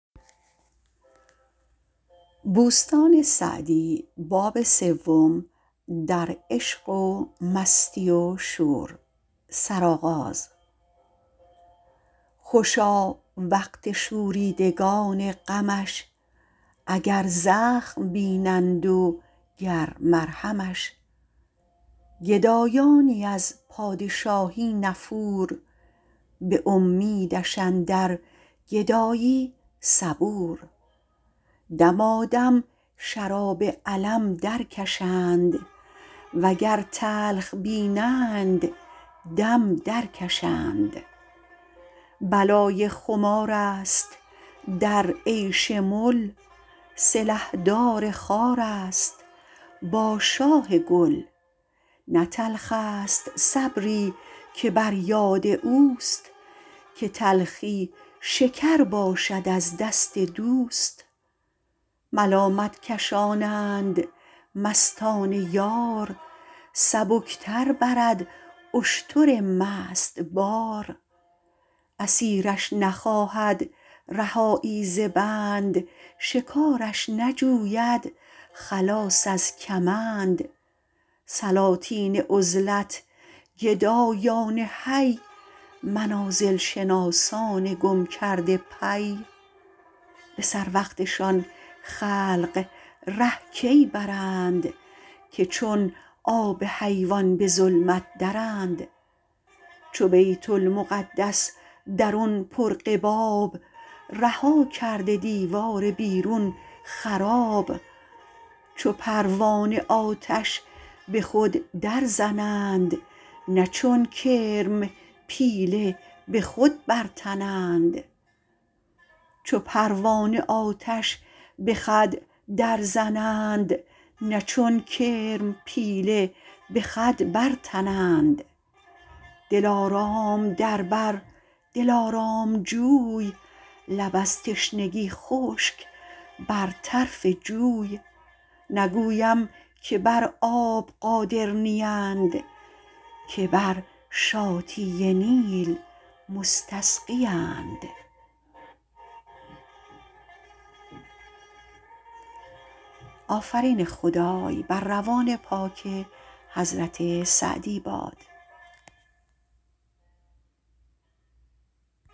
خوشا وقت شوریدگان غمش اگر زخم بینند و گر مرهمش گدایانی از پادشاهی نفور به امیدش اندر گدایی صبور دمادم شراب الم در کشند وگر تلخ بینند دم در کشند بلای خمار است در عیش مل سلحدار خار است با شاه گل نه تلخ است صبری که بر یاد اوست که تلخی شکر باشد از دست دوست ملامت کشانند مستان یار سبک تر برد اشتر مست بار اسیرش نخواهد رهایی ز بند شکارش نجوید خلاص از کمند سلاطین عزلت گدایان حی منازل شناسان گم کرده پی به سر وقتشان خلق ره کی برند که چون آب حیوان به ظلمت درند چو بیت المقدس درون پر قباب رها کرده دیوار بیرون خراب چو پروانه آتش به خود در زنند نه چون کرم پیله به خود برتنند دلارام در بر دلارام جوی لب از تشنگی خشک بر طرف جوی نگویم که بر آب قادر نیند که بر شاطی نیل مستسقیند